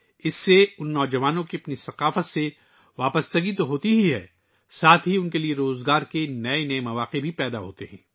اس سے یہ نوجوان نہ صرف اپنی ثقافت سے جڑتے ہیں بلکہ ان کے لئے روزگار کے نئے مواقع بھی پیدا ہوتے ہیں